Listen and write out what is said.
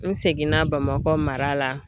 N segin na Bamakɔ mara la.